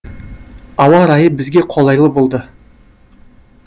ауа райы бізге қолайлы болды